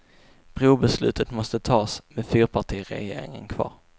Brobeslutet måste tas, med fyrpartiregeringen kvar.